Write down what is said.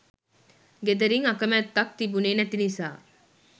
ගෙදරින් අකැමැත්තක් තිබුණේ නැති නිසා